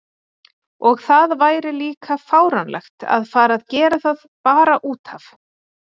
Og það væri líka fáránlegt að fara að gera það bara út af.